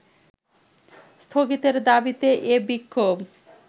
স্থগিতের দাবিতে এ বিক্ষোভ